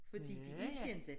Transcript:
Fordi de er kendte